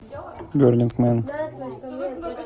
бернинг мэн